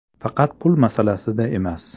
Faqat pul masalasida emas.